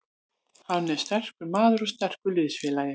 Hann er sterkur maður og sterkur liðsfélagi.